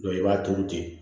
i b'a turu ten